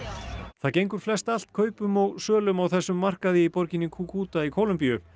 það gengur flest allt kaupum og sölum á þessum markaði í borginni Cúcuta í Kólumbíu